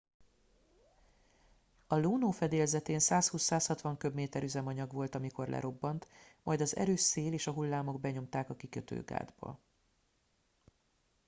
a luno fedélzetén 120-160 köbméter üzemanyag volt amikor lerobbant majd az erős szél és a hullámok benyomták a kikötőgátba